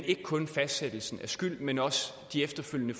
ikke kun fastsættelsen af skyld men også de efterfølgende